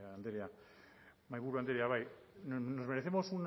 bai andrea mahaiburu andrea bai nos merecemos